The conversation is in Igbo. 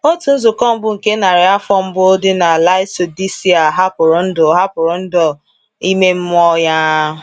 Otu nzukọ mbụ nke narị afọ mbụ dị na Laodicea hapụrụ ndụ hapụrụ ndụ aime mmụọ ya.